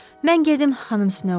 Mən gedim xanım Snow.